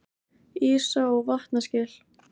Ísa- og vatnaskil.